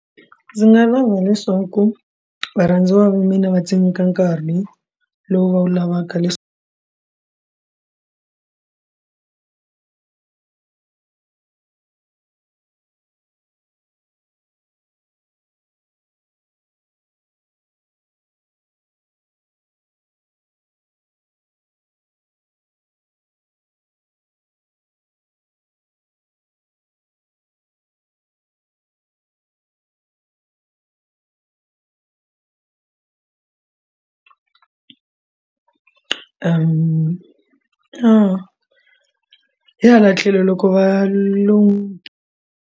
Ndzi nga lava leswaku varhandziwa va mina va tsemeka nkarhi lowu va wu lavaka leswaku hi hala tlhelo loko va lo.